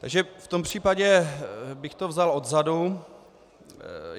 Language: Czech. Takže v tom případě bych to vzal odzadu.